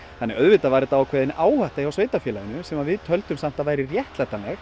svo auðvitað var þetta ákveðin áhætta hjá sveitarfélaginu sem við töldum samt að væri réttlætanleg